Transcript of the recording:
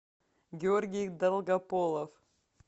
георгий долгополов